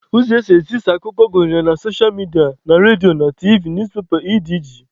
Ụzọ esị ezisa akụkọ gụnyere na socha midia, na redio na tiivi, newspepa wdg.